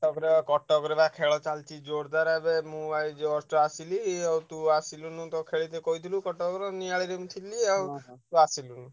ତାପରେ ବା କଟକରେ ବା ଖେଳ ଚାଲଚି ଜୋରଦାର ଏବେ ମୁଁ ଏଇ just ଆସିଲି। ଆଉ ତୁ ଆସିଲୁନି ତ ଖେଳିତେ କହିଥିଲୁ କଟକର ନିଆଳିରେ ମୁଁ ଥିଲି ଆଉ ତୁ ଆସିଲୁନୁ।